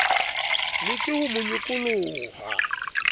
leke ho mo nyokola ha